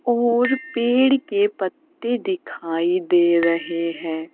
और पेड़ के पत्ते दिखाई दे रहे हैं।